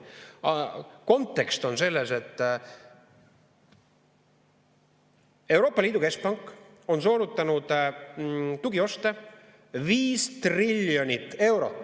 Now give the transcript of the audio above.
Aga kontekst on selles, et Euroopa Liidu keskpank on sooritanud tugioste 5 triljoni euro.